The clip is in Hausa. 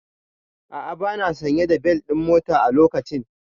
A'a bana sanye da bel ɗin mota a lokacin